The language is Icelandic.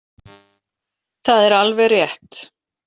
Það er alveg rétt.